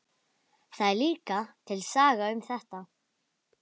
Það er líka til saga um þetta.